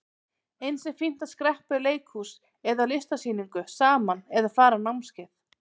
Eins er fínt að skreppa í leikhús eða á listasýningu saman eða fara á námskeið.